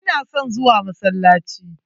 Ina son zuwa masallaci.